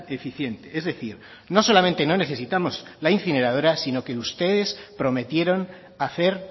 eficiente es decir no solamente no necesitamos la incineradora sino que ustedes prometieron hacer